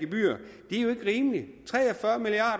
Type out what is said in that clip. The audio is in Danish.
rimeligt tre